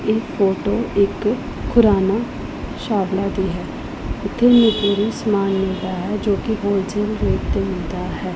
ਇਹ ਫੋਟੋ ਇੱਕ ਖੁਰਾਨਾ ਛਾਵੜਾ ਦੀ ਹੈ ਸਮਾਨ ਮਿਲਦਾ ਹੈ ਜੋ ਕਿ ਹੋਲਸੇਲ ਰੇਟ ਤੇ ਮਿਲਦਾ ਹੈ।